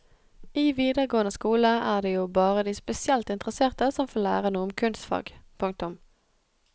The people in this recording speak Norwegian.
I videregående skole er det jo bare de spesielt interesserte som får lære noe om kunstfag. punktum